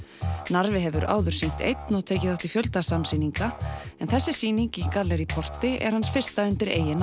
Narfi hefur áður sýnt einn og tekið þátt í fjölda samsýninga en þessi sýning í gallerí porti er hans fyrsta undir eigin